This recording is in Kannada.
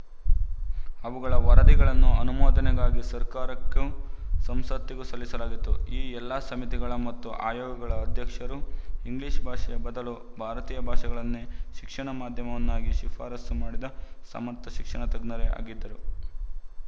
ಅವುಗಳ ವರದಿಗಳನ್ನು ಅನುಮೋದನೆಗಾಗಿ ಸರ್ಕಾರಕ್ಕೂ ಸಂಸತ್ತಿಗೂ ಸಲ್ಲಿಸಲಾಗಿತ್ತು ಈ ಎಲ್ಲ ಸಮಿತಿಗಳ ಮತ್ತು ಆಯೋಗಗಳ ಅಧ್ಯಕ್ಷರು ಇಂಗ್ಲಿಶ ಭಾಷೆಯ ಬದಲು ಭಾರತೀಯ ಭಾಷೆಗಳನ್ನೇ ಶಿಕ್ಷಣ ಮಾಧ್ಯಮವನ್ನಾಗಿ ಶಿಫಾರಸು ಮಾಡಿದ ಸಮರ್ಥ ಶಿಕ್ಷಣತಜ್ಞರೇ ಆಗಿದ್ದರು